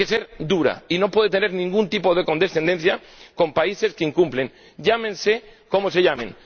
Tiene que ser dura y no puede tener ningún tipo de condescendencia con países que incumplen, llámense como se llamen.